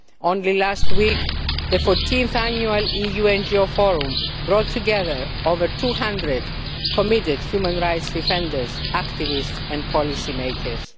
Only last week, the 14 th Annual EU NGO Forum brought together over 200 committed human rights defenders, activists and policy makers.